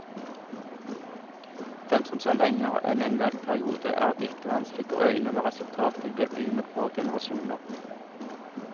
For dem som ser lenger enn en valgperiode, er det ikke vanskelig å øyne hva resultatet vil bli om et par generasjoner.